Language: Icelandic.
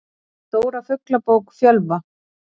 Stóra Fuglabók Fjölva.